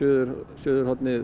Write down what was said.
Suðurlandið